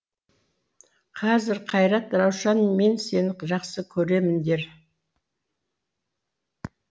қазір қайрат раушан мен сені жақсы көремін дер